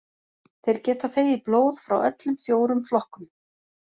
Þeir geta þegið blóð frá öllum fjórum flokkum.